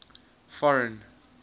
foreign